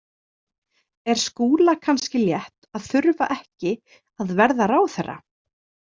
Er Skúla kannski létt að þurfa ekki að verða ráðherra?